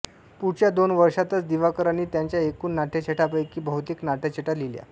पुढच्या दोन वर्षांतच दिवाकरांनी त्यांच्या एकूण नाट्यछटांपैकी बहुतेक नाट्यछटा लिहिल्या